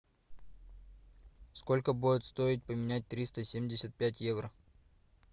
сколько будет стоить поменять триста семьдесят пять евро